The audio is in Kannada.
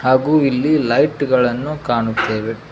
ಹಾಗು ಇಲ್ಲಿ ಲೈಟ್ ಗಳನ್ನು ಕಾಣುತ್ತೇವೆ.